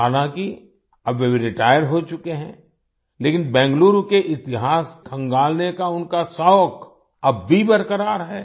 हालाँकि अब वे रिटायर हो चुके हैं लेकिन बेंगलुरु के इतिहास खंगालने का उनका शौक अब भी बरक़रार है